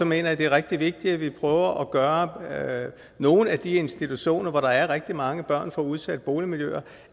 mener jeg det er rigtig vigtigt at vi prøver at gøre nogle af de institutioner hvor der er rigtig mange børn fra udsatte boligmiljøer